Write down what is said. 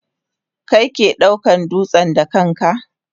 Kai ke daukan dutsen da kanka?